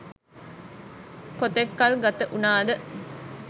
කොතෙක් කල් ගතවුනද